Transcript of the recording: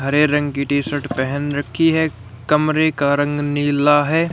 हरे रंग की T shirt पहन रखी है कमरे का रंग नीला है।